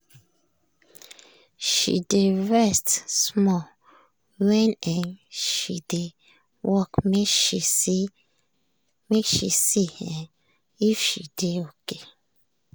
she dey rest small when um she dey work make she see um if she dey okay.